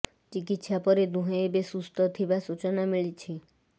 ଚିକିତ୍ସା ପରେ ଦୁହେଁ ଏବେ ସୁସ୍ଥ ଥିବା ସୂଚନା ମିଳିଛି